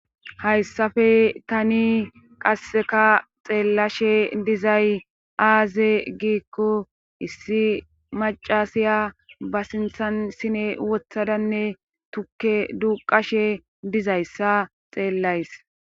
hayssafe tani qasseka xeellashe dizay aaze giikko issi macasiya ba sinthan sine wothadanne tukke duqashe dizayssa xeellays